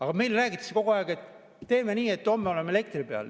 Aga meile räägitakse kogu aeg, et teeme nii, et homme oleme elektri peal.